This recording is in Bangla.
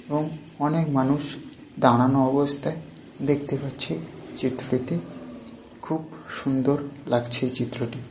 এবং অনেক মানুষ দাঁড়ানো অবস্থায় দেখতে পাচ্ছি চিত্রটিতে খুব সুন্দোর লাগছে চিত্রটি।